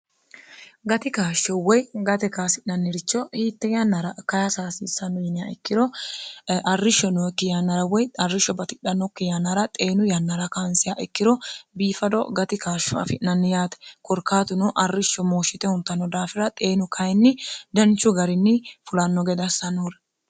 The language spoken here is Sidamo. gati kaashsho woy gate kaasi'nanniricho hiitte ynnra khasssno yi ikkiroarrishshokkiynr woy arrishsho bdhnokyr xeenu yannara kaansiha ikkiro biifado gati kaashsho afi'nanniyaate korkaatuno arrishsho mooshshite huntanno daafira xeenu kayinni danchu garinni fulanno gede assanouri